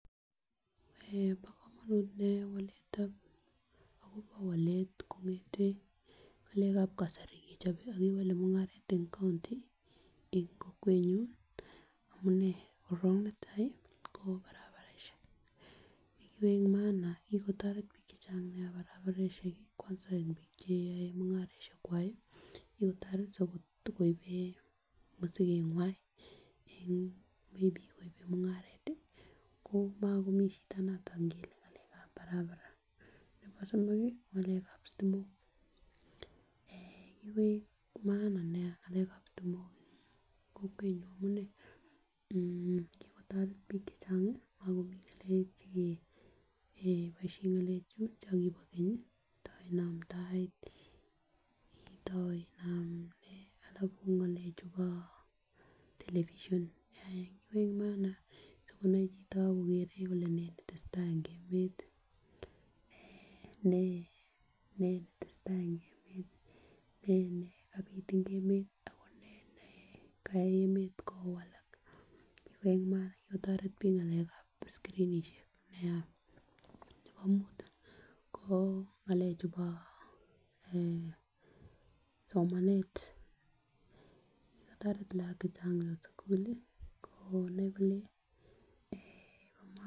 Bo komonut nia waletab akobo walet kongeten ngalekab kasari kochobe ak kewole mungaret en kounti en kokwenyuny amunee korong netai ko barabaraishek kokoin maana kikotoret bik chechang nia barabaraishek kii kwanza en bik cheyoe mungaroshek kwak kikotoret sikotokoiben mosikenywan en maybe koib mungaret ko mokomii shida noton ngele ngalekab barabara nebo somok kii ngalekab sitimok eh kikoik bo maana nia ngalekab sitimok en kokwenyuny amunee kikotoret bik chechengi ako mekomii ngalek chekee eeh keboishen ngalek chon Kobo Kenyi ta inam tai itou inam nee alafu ngalek chubo television eeh kikoik Maan nia sikonai chito kole nee netesetai en emet eeh nee netesetai en emet tii nee ne kabit en emet ako nee nekayai emet kowalak, kikoik bo maana kikotoret bik en bik en ngalekab skrinishek nia nebo mut ko ngalek chubo eeh somanet kikotoret lokok chechang en sukul lii konei kole eeh bo maana.